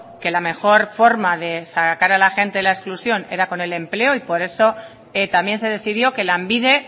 que la mejor forma de sacar a la gente de la exclusión era con el empleo y por eso también se decidió que lanbide